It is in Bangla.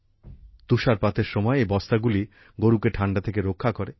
তুষারপাতের সময় এই বস্তাগুলি গরুকে ঠান্ডা থেকে রক্ষা করে